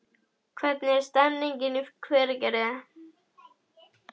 Hvernig er stemningin í Hveragerði?